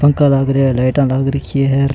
पंखा लाग रिया है लाइटा लाग रखी है।